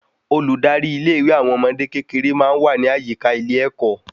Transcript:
Olùdarí ilé ìwé àwọn ọmọdé kékeré máa n wa ni àyíká ilé ẹkọ